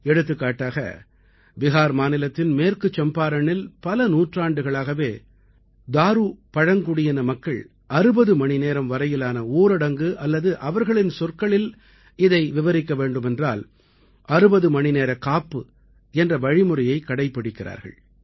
எடுத்துக்காட்டாக பிஹார் மாநிலத்தின் மேற்கு சம்பாரணில் பல நூற்றாண்டுகளாகவே தாரு பழங்குடியின மக்கள் 60 மணிநேரம் வரையிலான ஊரடங்கு அல்லது அவர்களது சொற்களில் இதை விவரிக்க வேண்டுமென்றால் 60 மணிநேர காப்பு என்ற வழிமுறையைக் கடைப்பிடிக்கிறார்கள்